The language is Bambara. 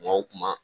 Kuma o kuma